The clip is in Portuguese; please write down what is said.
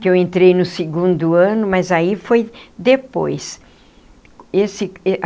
Que eu entrei no segundo ano, mas aí foi depois esse.